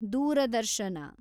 ದೂರದರ್ಶನ